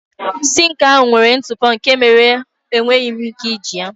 Sinkị ahụ nwere ntụpọ nke mere na enweghị m ike iji ya.